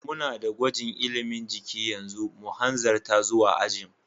Muna da gwajin ilimin jiki yanzu, mu hanzarta zuwa ajin.